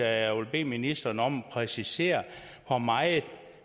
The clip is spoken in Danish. at jeg vil bede ministeren om at præcisere hvor meget